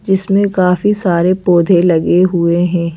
जिसमें काफी सारे पौधे लगे हुए हैं।